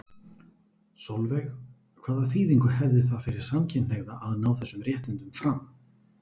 Sólveig: Hvaða þýðingu hefði það fyrir samkynhneigða að ná þessum réttindum fram?